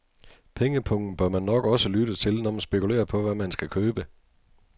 Pengepungen bør man nok også lytte til, når man spekulerer på, hvad man skal købe.